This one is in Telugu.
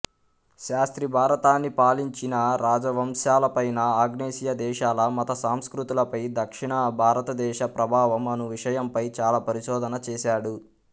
శాస్త్రి భారతాన్ని పాలించిన రాజవంశాలపైన ఆగ్నేసియాదేశాల మత సంస్కృతులపై దక్షిణభారతదేశ ప్రభావము అను విషయంపై చాలా పరిశోధన చేసాడు